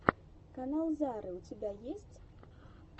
канал зары у тебя есть